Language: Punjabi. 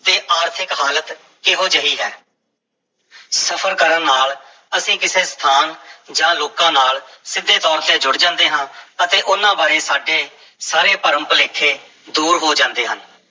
ਤੇ ਆਰਥਿਕ ਹਾਲਤ ਕਿਹੋ ਜਿਹੀ ਹੈ ਸਫ਼ਰ ਕਰਨ ਨਾਲ ਅਸੀਂ ਕਿਸੇ ਸਥਾਨ ਜਾਂ ਲੋਕਾਂ ਨਾਲ ਸਿੱਧੇ ਤੌਰ ਤੇ ਜੁੜ ਜਾਂਦੇ ਹਾਂ ਅਤੇ ਉਹਨਾਂ ਬਾਰੇ ਸਾਡੇ ਸਾਰੇ ਭਰਮ-ਭੁਲੇਖੇ ਦੂਰ ਹੋ ਜਾਂਦੇ ਹਨ।